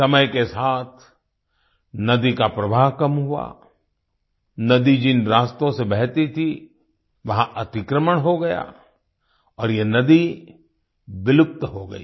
समय के साथ नदी का प्रवाह कम हुआ नदी जिन रास्तों से बहती थी वहां अतिक्रमण हो गया और ये नदी विलुप्त हो गई